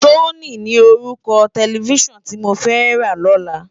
Sóni ni órúkò tèlèfisán ti mó fè rá lòlá